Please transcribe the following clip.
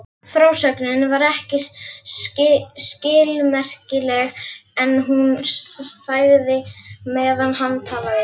Frásögnin var ekki skilmerkileg en hún þagði meðan hann talaði.